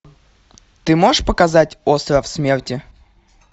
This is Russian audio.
ты можешь показать остров смерти